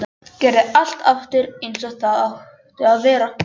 Gerði allt aftur eins og það átti að vera.